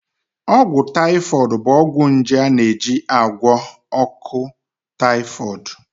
Ọgwụ taifọịd bụ ọgwụ nje a na-eji agwọ ahụ ọkụ taifọịd